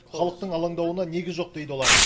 халықтың алаңдауына негіз жоқ дейді олар